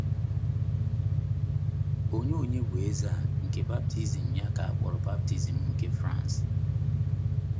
Onye Onye bụ eze a nke baptizim ya ka a kpọrọ baptizim nke France?